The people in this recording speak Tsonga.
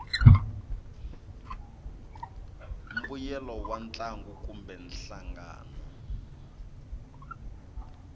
mbuyelo wa ntlangu kumbe nhlangano